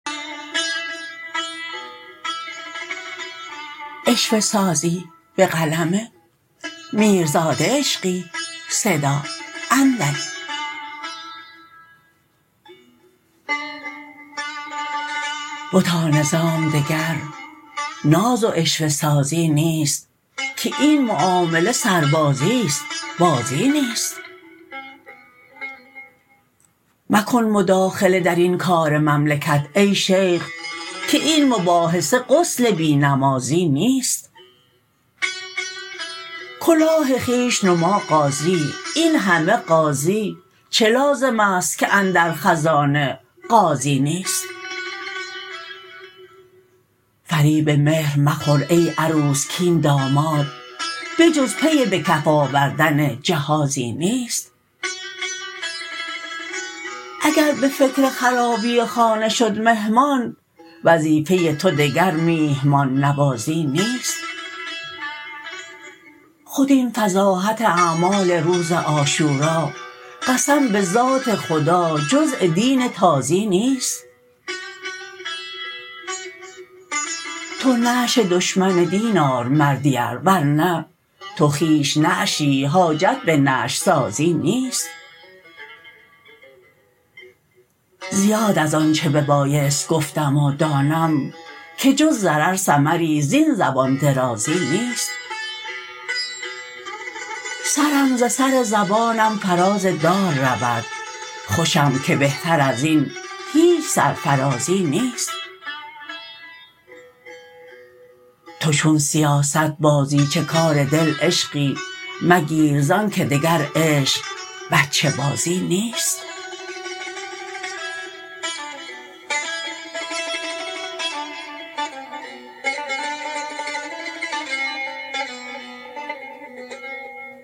بتا نظام دگر ناز و عشوه سازی نیست که این معامله سربازی است بازی نیست مکن مداخله در این کار مملکت ای شیخ که این مباحثه غسل بی نمازی نیست کلاه خویش نما قاضی این همه قاضی چه لازم است که اندر خزانه غازی نیست فریب مهر مخور ای عروس کاین داماد به جز پی به کف آوردن جهازی نیست اگر به فکر خرابی خانه شد مهمان وظیفه تو دگر میهمان نوازی نیست خود این فضاحت اعمال روز عاشورا قسم به ذات خدا جزء دین تازی نیست تو نعش دشمن دین آر مردی ار ورنه تو خویش نعشی حاجت به نعش سازی نیست زیاد از آنچه ببایست گفتم و دایم که جز ضرر ثمری زین زبان درازی نیست سرم ز سر زبانم فراز دار رود خوشم که بهتر از این هیچ سرفرازی نیست تو چون سیاست بازیچه کار دل عشقی مگیر ز آنکه دگر عشق بچه بازی نیست